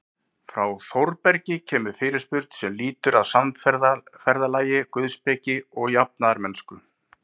Frá Þórbergi kemur fyrirspurn sem lýtur að samferðalagi guðspeki og jafnaðarmennsku.